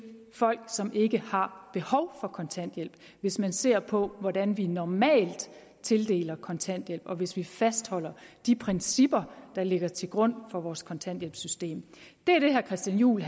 folk som ikke har behov for kontanthjælp hvis man ser på hvordan vi normalt tildeler kontanthjælp og hvis vi fastholder de principper der ligger til grund for vores kontanthjælpssystem det er det herre christian juhl